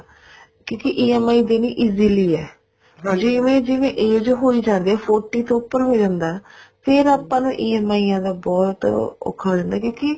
ਕਿਉਂਕਿ EMI ਦੇਣੀ easily ਆ ਜਿਵੇਂ ਜਿਵੇਂ age ਹੋਈ ਜਾਂਦੀ ਆ forty ਤੋਂ ਉੱਪਰ ਹੋ ਜਾਂਦਾ ਫ਼ੇਰ ਆਪਾਂ ਨੂੰ EMI ਦਾ ਬਹੁਤ ਔਖਾ ਹੋ ਜਾਂਦਾ ਕਿਉਂਕਿ